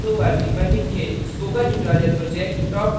spoken tutorial talktoateacher project का हिस्सा है